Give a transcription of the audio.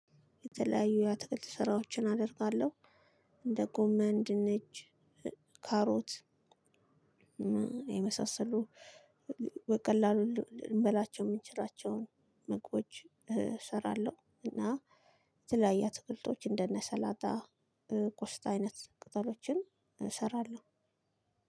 የተለያዩ የአትክልት ስራዎችን አደርጋለሁ እንደ ጎመን፣ ድንች፣ ካሮት የመሳሰሉ በቀላሉን ልንበላቸው የምንችላቸውን መግቦቶች እሰራለሁ እና የተለያየ አትክልቶች እንደነ ሰላጣ ቆስጣ አይነት ቅጠሎችን እንሰራለን።